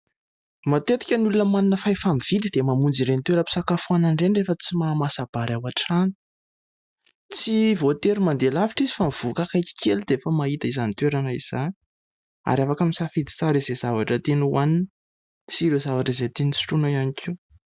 Matetika ny olona manana fahefa-mividy dia mamonjy ireny toeram-pisakafoanana ireny rehefa tsy mahamasa-bary ao an-trano. Tsy voatery mandeha lavitra izy fa mivoaka akaiky kely dia efa mahita izany toerana izany, ary afaka misafidy tsara izay zavatra tiany hoanina sy ireo zavatra izay tiany sotroina ihany koa.